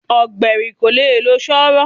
Ọ̀gbẹ̀rì kò le lo Sọ́họ̀.